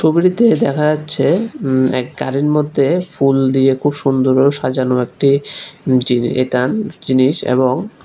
ছবিটিতে দেখা যাচ্ছে উম এক গাড়ির মধ্যে ফুল দিয়ে খুব সুন্দর ভাবে সাজানো একটি জিনিস এটা জিনিস এবং--